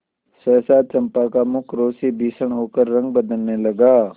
सहसा चंपा का मुख क्रोध से भीषण होकर रंग बदलने लगा